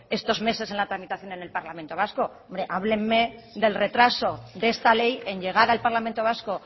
estos meses en la tramitación en el parlamento vasco hábleme del retraso de esta ley en llegar al parlamento vasco